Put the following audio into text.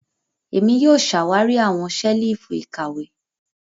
Èmi yóò ṣawari awọn ṣelifu ìkàwé.